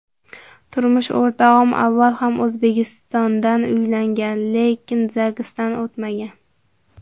Turmush o‘rtog‘im avval ham O‘zbekistondan uylangan, lekin zagsdan o‘tmagan.